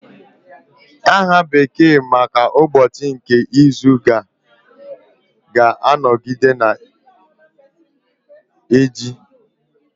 Aha bekee maka ụbọchị nke izu ga-anọgide na-eji